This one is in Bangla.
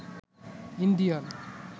ইন্ডিয়ান